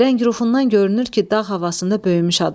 Rəng-rufından görünür ki, dağ havasında böyümüş adamdır.